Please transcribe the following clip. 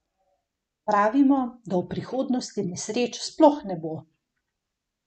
Pravimo, da v prihodnosti nesreč sploh ne bo.